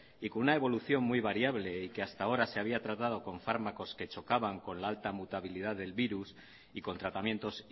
y con una evolución muy variable y que hasta ahora se había tratado con fármacos que chocaban con la alta mutabilidad del virus y con tratamientos